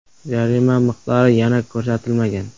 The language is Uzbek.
Jarima miqdori yana ko‘rsatilmagan.